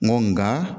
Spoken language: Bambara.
N go nga